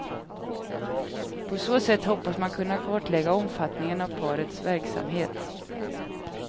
På så sätt hoppas man kunna kartlägga omfattningen av parets verksamhet.